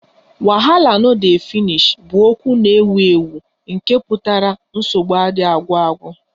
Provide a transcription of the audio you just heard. Wahala no dey finish 'bụ okwu na-ewu ewu nke pụtara nsogbu adịghị agwụ agwụ